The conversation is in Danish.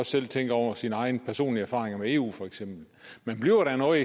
selv tænke over sine egne personlige erfaringer med eu for eksempel man bliver da noget